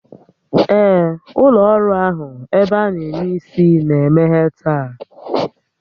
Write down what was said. Ee, ụlọ ọrụ ahụ ebe a na eme isi na-emeghe taa